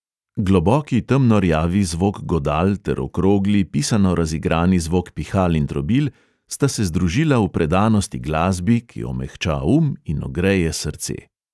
Globoki temnorjavi zvok godal ter okrogli, pisano razigrani zvok pihal in trobil sta se združila v predanosti glasbi, ki omehča um in ogreje srce.